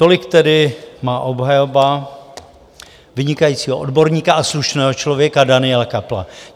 Tolik tedy má obhajoba vynikajícího odborníka a slušného člověka Daniela Köppla.